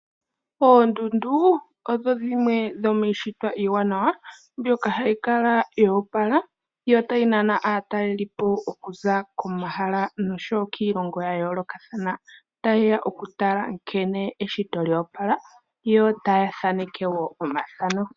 Oondundu odho dhimwe dhomiishitwa iiwanawa, mbyoka hayi kala yo opala yo tayi nana aatalelipo okuza komahala nosho wo kiilongo ya yoolokathana, tayeya okutala nkene eshito lyo opala, yo taya thaneke wo omathano.